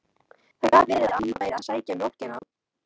Það gat verið að amma væri að sækja mjólkina.